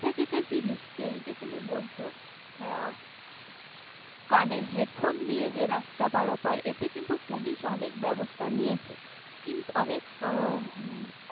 এটা যেটা জিনিস এই যে তুমি বলছ কানে headphone দিয়ে যে রাস্তা পারাপার এতে কিন্তু পুলিশ অনেক ব্যবস্থা নিয়েছে। কিন্তু, অনেক।